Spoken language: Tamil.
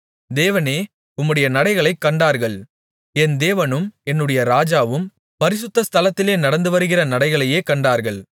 தேவனே உம்முடைய நடைகளைக் கண்டார்கள் என் தேவனும் என்னுடைய ராஜாவும் பரிசுத்த ஸ்தலத்திலே நடந்து வருகிற நடைகளையே கண்டார்கள்